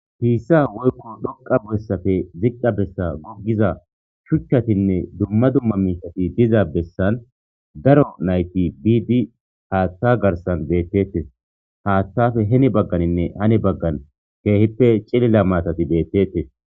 Pisa woykko dhoqa besappe ziqa bessa gogiza shichatinne dumma dumma miisheti diza besani daro nayti biidi Hatha garsan betetes, haathappe heni baganinne hani bagan keehippe cilila maatati betesi.